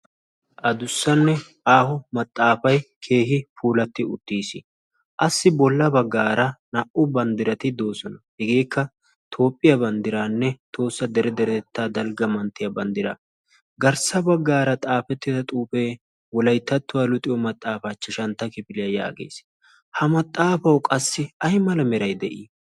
a dussanne aaho maxaafay keehi puulatti uttiis. assi bolla baggaara naa'u banddirati doosona. hegeekka toophphiyaa banddiraanne toossa dere deretettaa dalgga manttiyaa banddira garssa baggaara xaafettida xuufee wolaittattuwaa luxiyo maxaafaa chashantta kifiliyaa yaagees ha maxaafau qassi ay mala merai de'ii?